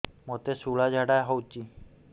ମୋତେ ଶୂଳା ଝାଡ଼ା ହଉଚି